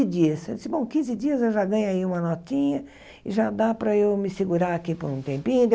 Dias eu disse, bom, quinze dias eu já ganho aí uma notinha e já dá para eu me segurar aqui por um tempinho.